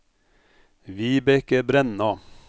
Vibeke Brenna